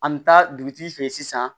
An bɛ taa dugutigi fɛ yen sisan